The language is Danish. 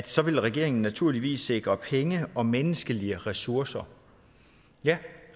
så vil regeringen naturligvis sikre penge og menneskelige ressourcer ja